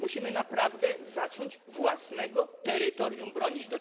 Musimy naprawdę zacząć własnego terytorium bronić.